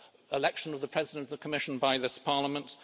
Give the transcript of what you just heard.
Election of the President of the Commission by this Parliament